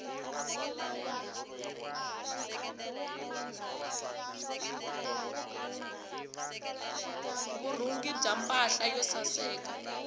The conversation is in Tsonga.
vurhungi bya mpahla yo saseka